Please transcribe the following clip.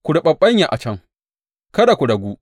Ku riɓaɓɓanya a can, kada ku ragu.